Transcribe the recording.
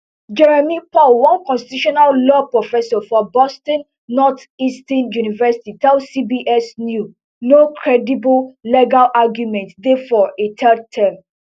jeremy paul one constitutional law professor for boston northeastern university tell cbs new no credible legal arguments dey for a third term